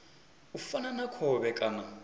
u fana na khovhe kana